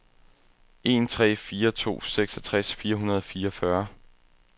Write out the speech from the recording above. en tre fire to seksogtres fire hundrede og fireogfyrre